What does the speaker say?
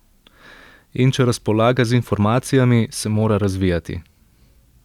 In če razpolaga z informacijami, se mora razvijati.